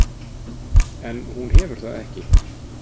En hún hefur það ekki.